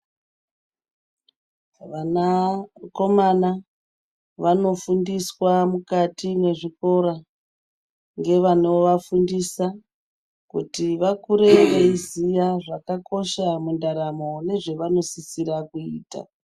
Vanakomana vanofundiswa mukati mwezvikora, ngevanovafundisa, kuti vakure veiziya zvakakosha mundaramo, nezvanosisira kuita.